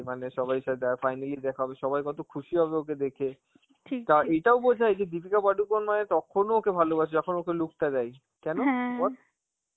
মানে সবার সাথে দেখা হয়নি, যে দেখা হবে, সবাই কত খুশি হবে ওকে দেখে. আর এটাও বোঝা যায় যে দীপিকা পাডুকোন মানে তখনো ওকে ভালবাসে যখন ওকে look টা দেয়, কেন বল?